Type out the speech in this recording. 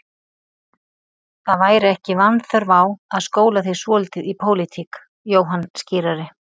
Það væri ekki vanþörf á að skóla þig svolítið í pólitík, Jóhann skírari.